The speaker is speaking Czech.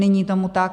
Není tomu tak.